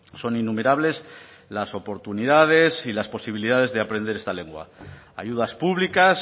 son innumerables las oportunidades y las posibilidades de aprender esta lengua ayudas públicas